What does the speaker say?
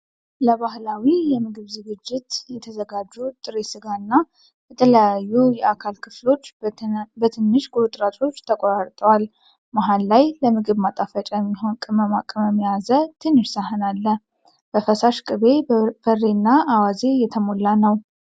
ለባህላዊ የምግብ ዝግጅት የተዘጋጁ ጥሬ ሥጋ እና የተለያዩ የአካል ክፍሎች በትንሽ ቁርጥራጮች ተቆርጠዋል። መሃል ላይ ለምግብ ማጣፈጫ የሚሆን ቅመማ ቅመም የያዘ ትንሽ ሳህን አለ፤ በፈሳሽ ቅቤ ፣ በርበሬ እና አዋዜ የተሞላ ነው።